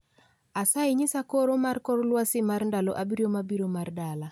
Asayi nyisa koro mar kor lwasi mar ndalo abiriyo mabiro mar dala